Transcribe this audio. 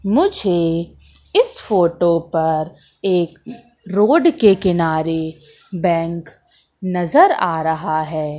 मुझे इस फोटो पर एक रोड के किनारे बैंक नजर आ रहा है।